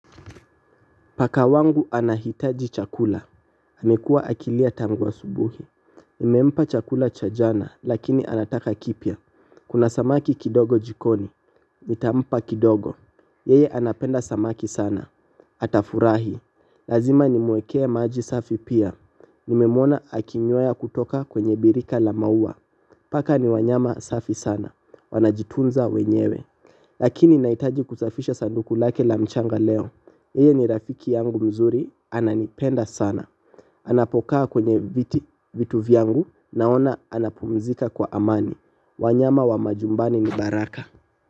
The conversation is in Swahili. Paka wangu anahitaji chakula amekua akilia tangu asubuhi. Nimempa chakula cha jana lakini anataka kipya. Kuna samaki kidogo jikoni nitampa kidogo. Yeye anapenda samaki sana. Atafurahi. Lazima nimwekee maji safi pia. Nimemwona akinyweya kutoka kwenye birika la mauwa. Paka ni wanyama safi sana. Wanajitunza wenyewe. Lakini naitaji kusafisha sanduku lake la mchanga leo yeye ni rafiki yangu mzuri, ananipenda sana. Anapokaa kwenye vitu vyangu naona anapumzika kwa amani. Wanyama wa majumbani ni baraka.